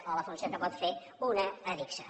o la funció que pot fer una adigsa